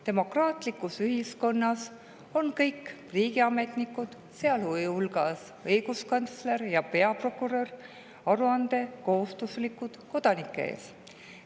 Demokraatlikus ühiskonnas on kõik riigiametnikud, sealhulgas õiguskantsler ja peaprokurör, aruandekohustuslikud kodanike ees.